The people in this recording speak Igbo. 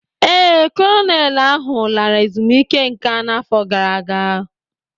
Ee, Kolonelụ ahụ lara ezumike nka n'afọ gara aga